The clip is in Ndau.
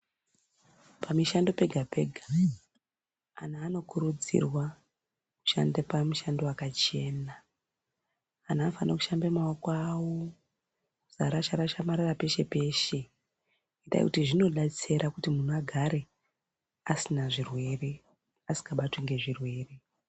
Pa mishando pega pega anhu anokurudzirwa kushande pa mushando wakachena anhu anofana kushambe maoko awo kusa rasha rasha marara peshe peshe ngenda yekuti zvino detsera kuti muntu agare asina zvirwere asinga batwi nge zvirwere.